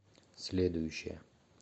следующая